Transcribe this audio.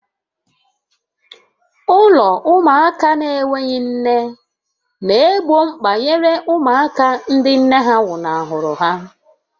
Ụlọ ụmụaka n'enweghị nne na-egbo mkpa nyere ụmụaka ndị nne ha nwụnahụrụ ha.